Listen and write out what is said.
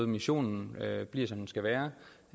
missionen bliver som den skal være